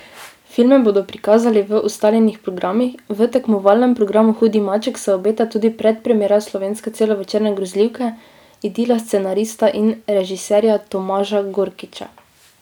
Filme bodo prikazali v ustaljenih programih, v tekmovalnem programu hudi maček se obeta tudi predpremiera slovenske celovečerne grozljivke Idila scenarista in režiserja Tomaža Gorkiča.